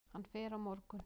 Hann fer á morgun.